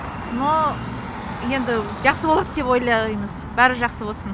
но енді жақсы болады деп ойлаймыз бәрі жақсы болсын